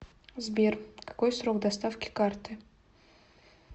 сбер какой срок доставки карты